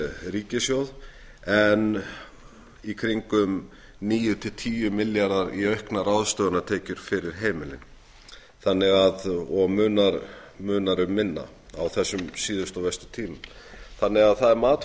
ríkissjóð en í kringum níu til tíu milljarða í auknar ráðstöfunartekjur fyrir heimilin og munar um minna á þessum síðustu og verstu tímum það er því mat